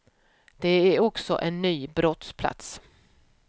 Det är också en ny brottsplats.